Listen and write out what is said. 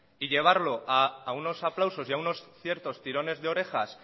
y llevarlo a unos aplausos y a unos ciertos tirones de orejas